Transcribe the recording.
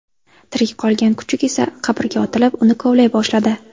Tirik qolgan kuchuk esa qabrga otilib, uni kovlay boshladi.